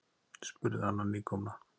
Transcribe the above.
spurði Anna nýkomna.